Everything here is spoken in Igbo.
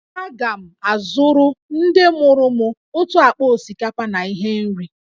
Aga m azụrụ ndị mụrụ m otu akpa osikapa na ihe nri